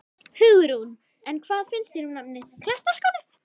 Hugrún: En hvað finnst þér um nafnið, Klettaskóli?